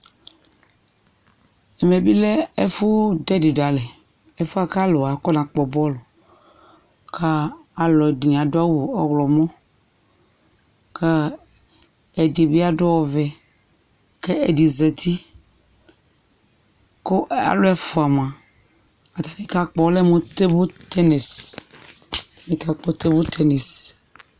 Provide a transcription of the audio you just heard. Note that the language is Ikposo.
Ɛmɛ bɩ lɛ ɛfʋ dʋ ɛdɩ dʋ alɛ Ɛfʋ yɛ kʋ alʋ wa afɔnakpɔ bɔlʋ kʋ alʋɛdɩnɩ adʋ awʋ ɔɣlɔmɔ kʋ ɛdɩ bɩ adʋ ɔvɛ kʋ ɛdɩ zati kʋ alʋ ɛfʋa mʋa, ata bɩ kakpɔ ɔlɛ mʋ tebl tenis, ɛdɩnɩ kakpɔ tebl tenis